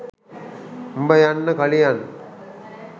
උඹ යන්න කලියන්